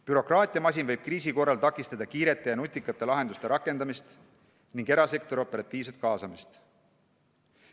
Bürokraatiamasin võib kriisi korral takistada kiirete ja nutikate lahenduste rakendamist ning erasektori operatiivset kaasamist.